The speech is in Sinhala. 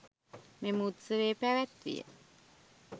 මෙම උත්සවය පැවැත්විය.